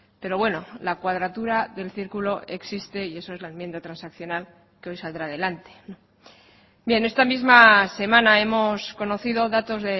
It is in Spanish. pero bueno la cuadratura del círculo existe y eso es la enmienda transaccional que hoy saldrá adelante bien esta misma semana hemos conocido datos